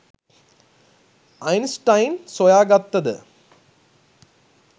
Einstein සොයාගත්තද